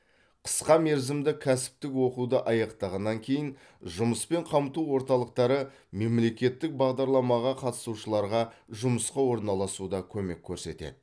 қысқа мерзімді кәсіптік оқуды аяқтағаннан кейін жұмыспен қамту орталықтары мемлекеттік бағдарламаға қатысушыларға жұмысқа орналасуда көмек көрсетеді